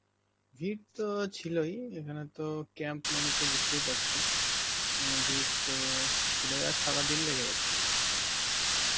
ভীড় তো ছিলই, এখানে তো camp মানে তো বুঝতেই পারছ, অ্যাঁ ভীড় তো ছিল আর সারাদিন রেগে গেছে মোটামুটি.